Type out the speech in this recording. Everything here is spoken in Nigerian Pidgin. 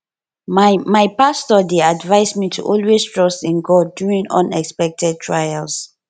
my my pastor dey advise me to always trust in god during unexpected trials